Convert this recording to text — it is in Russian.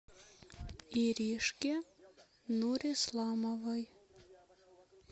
иришке нурисламовой